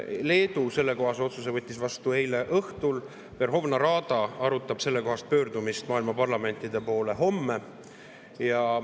Leedu võttis sellekohase otsuse vastu eile õhtul, Verhovna Rada arutab sellekohast pöördumist maailma parlamentide poole homme.